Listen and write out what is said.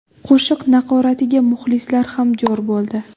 Qo‘shiq naqoratiga muxlislar ham jo‘r bo‘ldi.